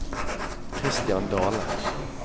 Christian Dahle